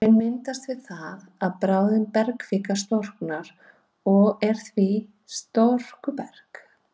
Hraun myndast við það að bráðin bergkvika storknar og er því storkuberg.